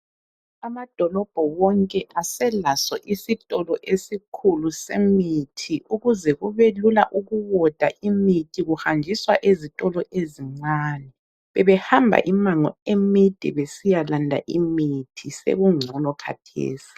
Amadolobho wonke aselaso isitolo esikhulu semithi , ukuze kube lula ukuwoda imithi kuhanjiswa ezitolo ezincane. Bebehamba imango emide besiyalanda imithi, sekungcono khathesi.